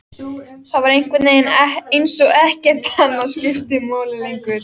Það var einhvernveginn eins og ekkert annað skipti máli lengur.